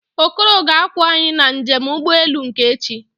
Okoro ga-akwọ anyị na njem ụgbọelu nke echi